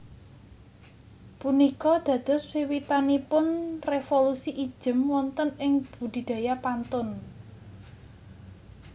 Punika dados wiwitanipun révolusi ijem wonten ing budidaya pantun